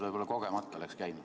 Võib-olla kogemata läks käima.